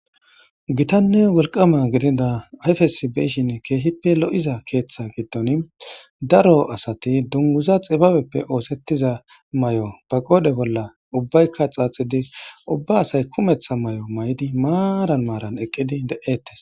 gitanne wolqama gidida ayfes beyshinn keehippe lo7iza keeththa giddon daro asati dunguza xibabeppe oosettiza may7o ba goode bolla ubbaykka xaaxidi ubba asay kumeththa may7o may7di maaran maaran eqqidi de7ettes